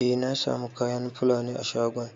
Eh na samu kayan Fulani a shagon.